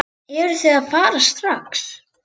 Eruð þið að fara strax?